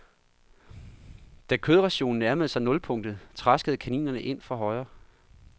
Da kødrationen nærmede sig nulpunktet, traskede kaninerne ind fra højre.